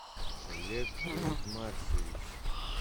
олег ритмарсович